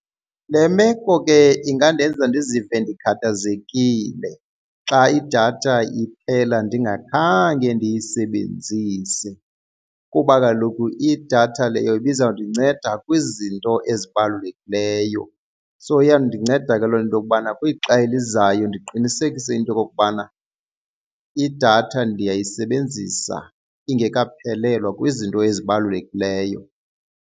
Le meko ke ingandenza ndizive ndikhathazekile xa idatha iphela ndingakhange ndiyisebenzise kuba kaloku idatha leyo ibizawundinceda kwizinto ezibalulekileyo. So iyawundinceda ke lo into yokubana kwixesha elizayo ndiqinisekise into okokubana idatha ndiyayisebenzisa ingekaphelelwa kwizinto ezibalulekileyo.